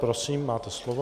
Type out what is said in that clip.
Prosím, máte slovo.